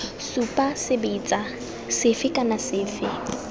supa sebetsa sefe kana sefe